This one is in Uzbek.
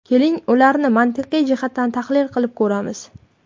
Keling ularni mantiqiy jihatdan tahlil qilib ko‘ramiz.